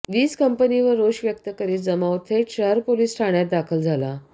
वीज कंपनीवर रोष व्यक्त करीत जमाव थेट शहर पोलीस ठाण्यात दाखल झाला